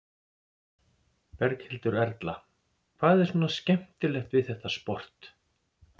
Berghildur Erla: Hvað er svona skemmtilegt við þetta sport?